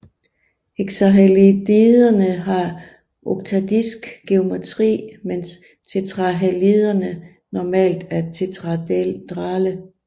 Hexahaliderne har oktaedisk geometri mens tetrahaliderne normalt er tetrahedrale